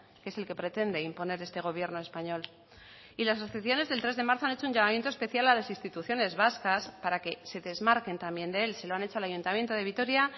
que es el que pretende imponer este gobierno español y las asociaciones del tres de marzo han hecho un llamamiento especial a las instituciones vascas para que se desmarquen también de él se lo han hecho al ayuntamiento de vitoria